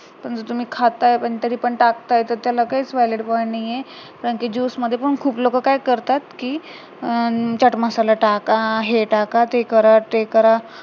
पण तर तुम्ही खाताय पण तरी पण टाकताय तर त्याला काहीच नाहीये, कारण कि juice मध्ये पण खूप लोक काय करतात कि अं चाट मसाला टका, हे टाका हे करा, ते करा